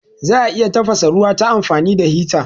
Za'a iya tafasa ruwa ta amfani da hita